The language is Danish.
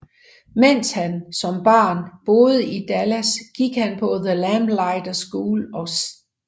Mens han som barn boede i Dallas gik han på The Lamplighter School og St